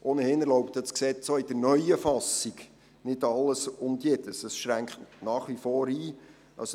Ohnehin erlaubt das Gesetz auch in der neuen Fassung nicht alles und jedes, sondern es schränkt nach wie vor ein.